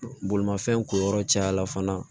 Bolimafɛn ko yɔrɔ cayala fana